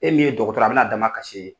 E min ye dɔgɔtɔrɔ ye a bɛ na a damakasi e ye.